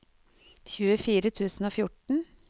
tjuefire tusen og fjorten